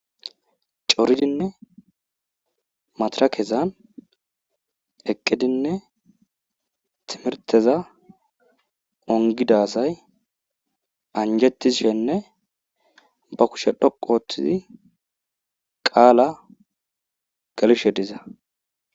Coridinne madirakkezan eqqidinne timirtteza ongida asay anjetishenne ba kushiya dhoqu oothidi qqala gelishe diza.